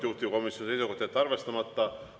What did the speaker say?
Juhtivkomisjoni seisukoht on jätta arvestamata.